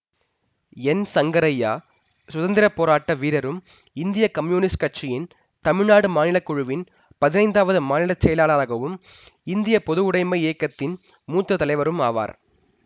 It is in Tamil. என் சங்கரய்யா சுதந்திர போராட்ட வீரரும் இந்திய கம்யூனிஸ்ட் கட்சியின் தமிழ்நாடு மாநிலக்குழுவின் பதினைந்தாவது மாநில செயலாளராகவும் இந்திய பொதுவுடைமை இயக்கத்தின் மூத்த தலைவரும் ஆவார்